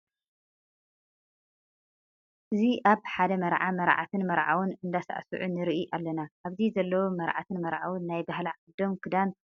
እዚ ኣብ ሓደ መርዓ መርዓትን መርዓውን እንዳሳዕስዑ ንርኢ ኣለና። ኣብዚ ዘለዉ መርዓትን መርዓውን ናይ ባህሊ ዓዶም ክዳን ተከዲኖም ካባ ለቢሶም ይስዕስዑ ኣለዉ።